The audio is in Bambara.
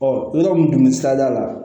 Ɔ yɔrɔ mun tun bɛ sirada la